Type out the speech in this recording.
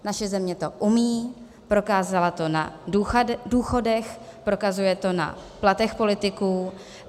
Naše země to umí, prokázala to na důchodech, prokazuje to na platech politiků.